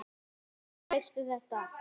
Hvernig veistu þetta?